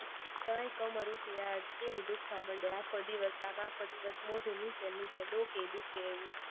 તઈ કમર કેવી દુખવા મંડે, આખો દિવસ, આખો દિવસ મોઢું નીચે ને નીચે, ડોકી ય દુખે એવી